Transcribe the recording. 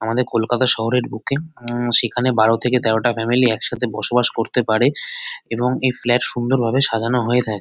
আমাদের কলকাতা শহরের বুকে উম সেখানে বারো থেকে তেরোটা ফ্যামিলি একসাথে বসবাস করতে পারে এবং এই ফ্ল্যাট সুন্দরভাবে সাজানো হয়ে দেয়।